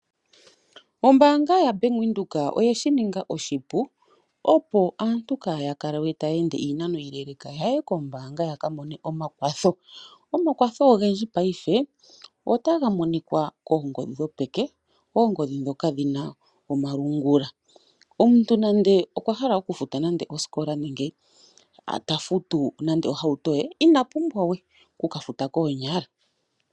Ombaanga yaBank Windhoek oye shi ninga oshipu opo aantu kaaya kale we taya ende iinano iile yaye koombaanga yaka mone omakwatho. Omakwatho ogendji paife otaga monikwa kookongodhi dhopeke, oongodhi ndhoka dhi na omalungula. Omuntu nande okwa hala oku futa nande oosikola nade oku ka futa ohauto ye, ina pumbwa we oku ka futa koonyala.